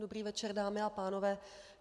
Dobrý večer, dámy a pánové.